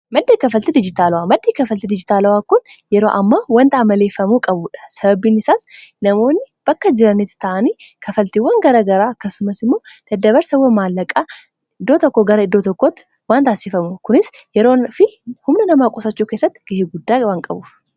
Maddaa kafalti dijitaalawaa maddii kafaltii dijitaalawaa kun yeroo amma wanta amaleeffamuu qabuudha, sababiin isaas namoonni bakka jiraniti ta'anii kafaltiiwwan gara garaa akkasumas immoo dadabarsawan maallaqaa iddoo tokko gara iddoo tokkotti waan taasifamuf kunis yeroo fi humna namaa qusachuu keessatti ga'ee guddaa waan qabuuf.